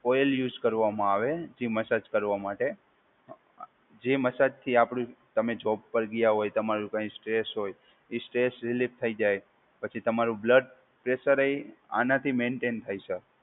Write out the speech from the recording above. Coil use કરવામાં આવે જે મસાજ કરવા માટે જે મસાજથી આપડી તમે જોબ પર ગયા હોય તમારું કઈ સ્ટ્રેસ હોય, એ સ્ટ્રેસ રિલીફ થઈ જાય. પછી તમારું બ્લડ પ્રેશર હોય આનાથી મેન્ટેન થાય સર.